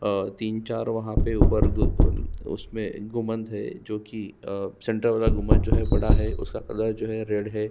और तीन चार वहाँ पे ऊपर उ अ उसमे गुम्मद है जो की अ सेंटर वाला गुम्मद जो है बड़ा है उसका कलर जो है रेड है।